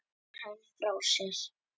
Leggur hann frá sér.